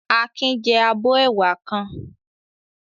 Akin jẹ abọ́ ẹwà kan.